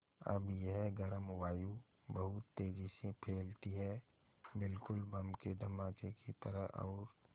अब यह गर्म वायु बहुत तेज़ी से फैलती है बिल्कुल बम के धमाके की तरह और